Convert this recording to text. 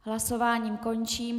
Hlasování končím.